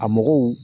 A mɔgɔw